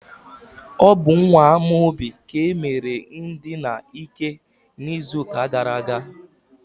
ọ bụ nwa Amaobi ka e mere ndina ike n'izuụka gara aga.